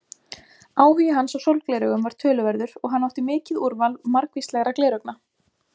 Áhugi hans á sólgleraugum var töluverður og hann átti mikið úrval margvíslegra gleraugna.